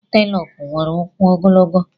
Anteloopu nwere ụkwụ ogologo.